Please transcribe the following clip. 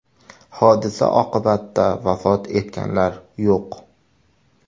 Hodisa oqibatida vafot etganlar yo‘q .